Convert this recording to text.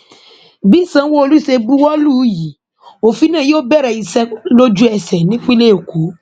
bí sanwóolu ṣe buwọ lù ú yìí òfin náà yóò bẹrẹ iṣẹ lójú ẹsẹ nípínlẹ èkó